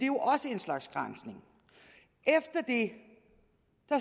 jo også en slags granskning efter det